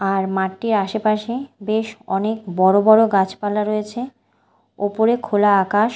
আর মাঠটির আশেপাশে বেশ অনেক বড় বড় গাছপালা রয়েছে ওপরে খোলা আকাশ।